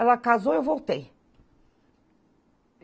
Ela casou e eu voltei.